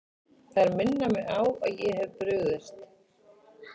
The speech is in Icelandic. Þær minna mig á að ég hef brugðist.